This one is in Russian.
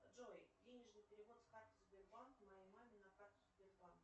джой денежный перевод с карты сбербанк моей маме на карту сбербанк